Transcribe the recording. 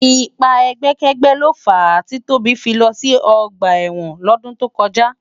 Ipá ègbèkègbè ló fá ti Tobi fi lò si ògbá èwòn lòdún tókòjá